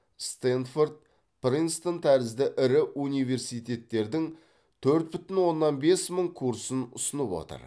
стэнфорд принстон тәрізді ірі университеттердің төрт бүтін оннан бес мың курсын ұсынып отыр